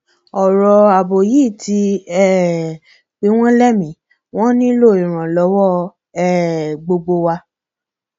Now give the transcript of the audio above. ọrọ ààbò yìí ti um pin wọn lẹ́miín wọn nílò ìrànlọwọ um gbogbo wa